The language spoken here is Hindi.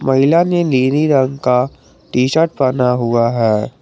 महिला ने नीले रंग का टी शर्ट पहना हुआ है।